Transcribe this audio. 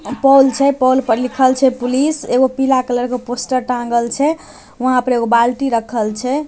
Pole छै pole पर लिखल छै पुलिस एगो पीला कलर के पोस्टर टांगल छै वहां पर एक बाल्टी रकखल छै।